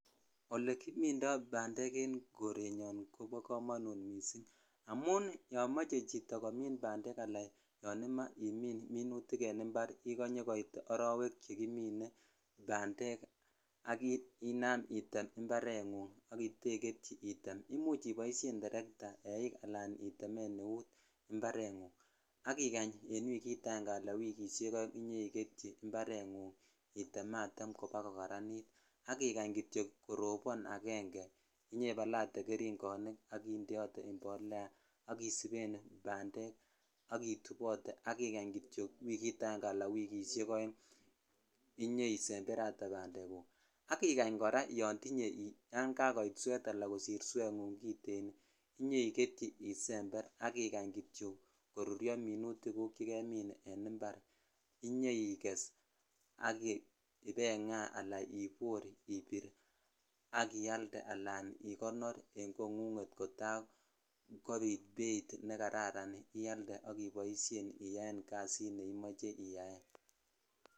Olekimindo bandek en korenyon kobo komonut missing amun yon moche chito komin bandek ala yon imoche imin minutik ikonye koitne kimine ak inam item item imparengu item ak itegetyii item imuch item iboishen terta ,eikslan itemen eut imarengug en wikit ange ala wikishen oeg Inyoiketyi item atem bakokaranitak ikanye kityok korobon aenge inyoibalate geringonik ak indeote impolea ak isipen bandek ak itubote sk ijany kityok wikit aenge ala wikishek oeng inyoisemberate bandeguk ak ikany kora yan jakoit suet ala kosir inyoiketyi isember ak ikany kityok koruryo minuti gguk chekemin impar ak iges ala ibainga ibor ala ibir ak ialde ala ikonor en kongug kotaa kobit beit nekararan ialde ak iboishen iyan jasit ne imoche iyaen .